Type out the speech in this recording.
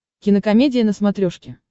кинокомедия на смотрешке